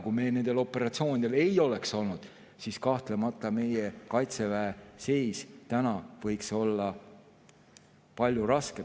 Kui me nendel operatsioonidel ei oleks olnud, siis kahtlemata meie Kaitseväe seis võiks olla palju raskem.